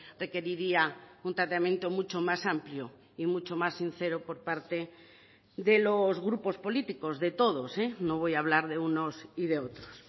requeriría un tratamiento mucho más amplio y mucho más sincero por parte de los grupos políticos de todos no voy a hablar de unos y de otros